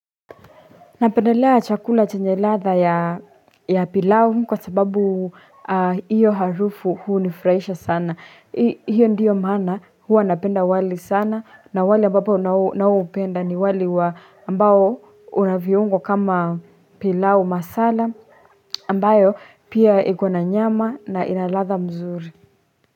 Napendelea chakula chenye ladha ya pilau kwa sababu iyo harufu hunifraisha sana. Hiyo ndiyo maana hua napenda wali sana na wali ambapo nao naoupenda ni wali wa ambao unaviungo kama pilau masala ambayo pia iko na nyama na inaladha mzuri.